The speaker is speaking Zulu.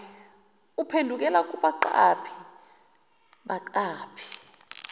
uphendukela kubaqaphi baqaphi